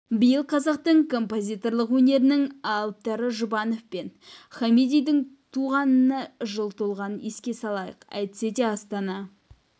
биыл қазақтың композиторлық өнерінің алыптары жұбанов пен хамидидің туғанына жыл толғанын еске салайық әйтсе де астана